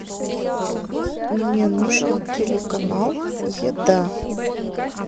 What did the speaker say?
мне нужен телеканал еда